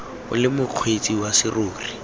o le mokgweetsi wa serori